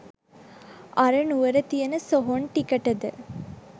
අර නුවර තියන සොහොන් ටිකටද.